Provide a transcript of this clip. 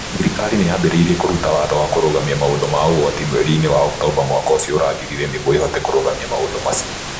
Thirikari nĩ yambĩrĩirie kũruta watho wa kũrũgamia maũndũ ma ũgwati mweri-inĩ wa Oktomba mwaka ũcio ũrathirire nĩguo ĩhote kũrũgamia maũndũ macio.